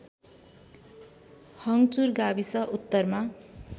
हङ्चुर गाविस उत्तरमा